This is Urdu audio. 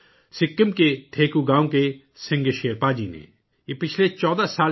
سکم کے تھیگو گاؤں کے سنگے شیرپا جی نے اس کے لیے ایک مثال قائم کی ہے